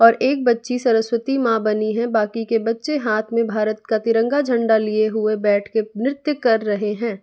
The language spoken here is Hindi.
और एक बच्ची सरस्वती मां बनी है बाकी के बच्चे हाथ में भारत का तिरंगा झंडा लिए हुए बैठ के नृत्य कर रहे हैं।